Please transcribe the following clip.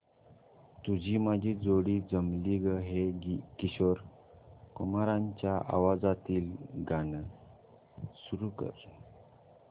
तुझी माझी जोडी जमली गं हे किशोर कुमारांच्या आवाजातील गाणं सुरू कर